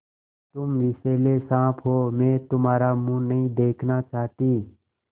तुम विषैले साँप हो मैं तुम्हारा मुँह नहीं देखना चाहती